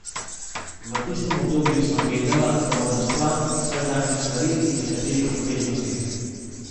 V tistem obdobju sem vedela, da moram stran od vsakdanjih stvari in nekaterih obveznosti.